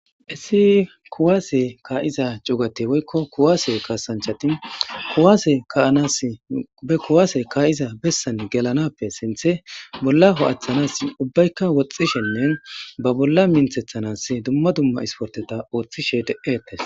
Essi kuwaase kaa'iza c'ugate woykko kuwaase kaasanchatin anase kuwaase kaa'iza bessan gelanappe sinthe bolla ho'aththanas ubbaykka woxxishennen ba bolla minthethanas dumma dumma isporteta ooththishe de'etes.